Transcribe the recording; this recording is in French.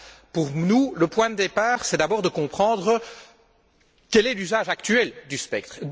Pour nous, le point de départ est d'abord de comprendre quel est l'usage actuel du spectre.